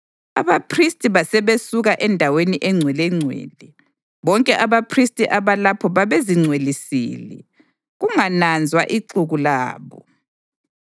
Abaphristi basebesuka eNdaweni eNgcwelengcwele. Bonke abaphristi abalapho babezingcwelisile, kungananzwa ixuku labo.